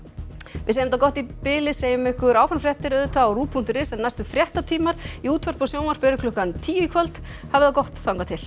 við segjum þetta gott í bili segjum ykkur áfram fréttir á punktur is en næstu fréttatímar í útvarpi og sjónvarpi eru klukkan tíu í kvöld hafið það gott þangað til